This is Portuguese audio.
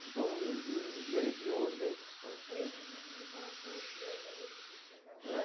Então, o ge o gerente... Três domingos, então, o senhor já já decidiu que ia casar? É.